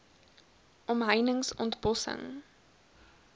omheinings ont bossing